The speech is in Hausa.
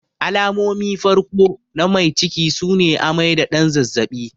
Alamomin farko na mai ciki sune amai da ɗan zazzabi.